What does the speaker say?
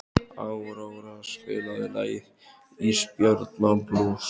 Áróra, spilaðu lagið „Ísbjarnarblús“.